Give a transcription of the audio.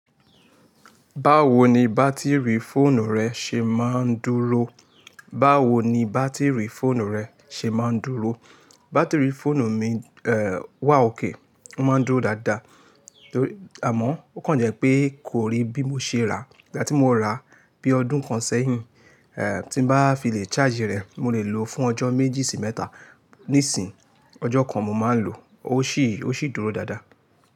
Báwo ni bátìrì fóònù rẹ ṣe máa ń dúró? Báwo ni bátìrì fóònù rẹ ṣe máa ń dúró? Bátìrì fóònù mi, eh, wà ókay, ó máa ń dúró dáadáa, àmọ́ ó kàn jẹ́ pé kò rí bí mo ṣe rà á. Ìgbà tí morà, bí ọdún kan sẹ́yìn, tí ban fi lè charge rẹ̀ mo lè lò fún ọjọ́ bí méjì sí mẹ́ta. Nísìnyí, ọjọ́ kan mo máa ń lò ó, ó sì, ó sì dúró dáadáa.